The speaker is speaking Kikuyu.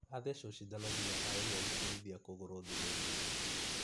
Atheswo sidano nginya aremwo gũkinyithia kũgũrũ thĩ nĩ ruo